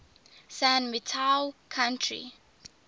san mateo county